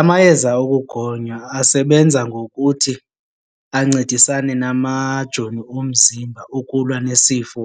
Amayeza ukugonya asebenza ngokuthi ancedisane namajoni omzimba ukulwa nesifo